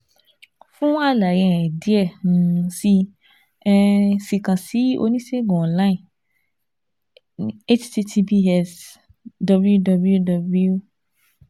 Fun alaye um diẹ um sii um sii kan si onisegun online h-t-t-p-s w-w-w